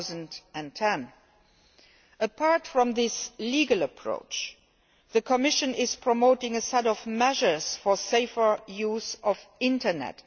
2010. Apart from this legal approach, the Commission is promoting a set of measures for the safer use of the Internet.